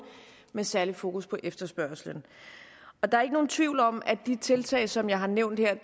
med særlig fokus på efterspørgslen der er ikke nogen tvivl om at de tiltag som jeg har nævnt her